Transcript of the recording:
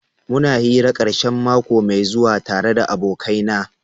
Muna hira karshen mako mai zuwa tare da abokaina.